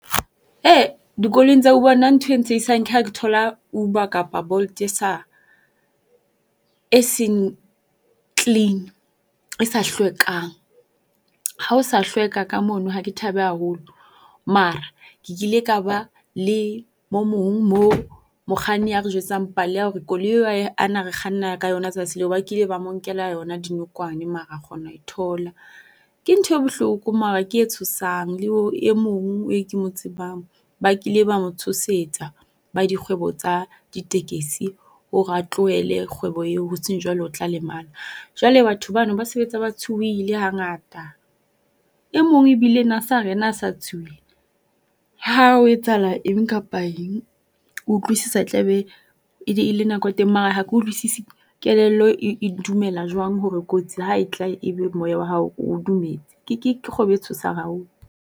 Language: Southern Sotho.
Dikoloing tsa Uber nna ntho e ntshehisang ke ha ke thola Uber kapa Bolt e sa, e seng clean. E sa hlwekang. Ha ho sa hlweka ka mono ha ke thabe haholo. Mara ke kile ka ba le mo mong mo mokganni a re jwetsang pale ya hore koloing a neng a re kganna ka yona tsatsing leo ba kile ba mo nkela yona dinokwane mara a kgona ho e thola. Ke ntho e bohloko mara ke e tshosang le e mong e ke mo tsebang ba kile ba mo tshosetsa ba dikgwebo tsa ditekesi hore a tlohele kgwebo eo hoseng jwalo o tla lemala. Jwale batho ba no ba sebetsa ba tshohile ha ngata. E mong ebile o na sa re yena ha sa tshohile, ha ho etsahala eng kapa eng o utlwisisa e tla be e le nako ya teng. Mara ha ke utlwisisi kelello e e dumela jwang hore kotsi ha e tla e be moya wa hao o dumetse. Ke ke kgwebo e tshosang haholo.